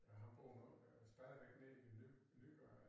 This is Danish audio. Ja han bor nok øh stadigvæk nede i ny Nygade